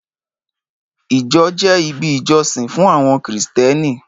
Ìjọ jẹ́ ibi ìjọsìn fún àwọn Kristẹni.